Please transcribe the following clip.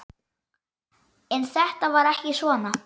En þetta var ekki svona.